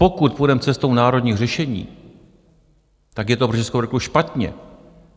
Pokud půjdeme cestou národních řešení, tak je to pro Českou republiku špatně.